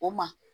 O ma